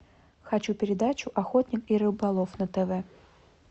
хочу передачу охотник и рыболов на тв